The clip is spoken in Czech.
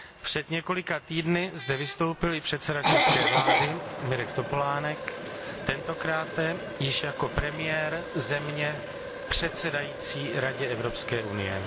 Před několika týdny zde vystoupil i předseda české vlády, Mirek Topolánek, tentokráte již jako premiér země předsedající Radě Evropské unie.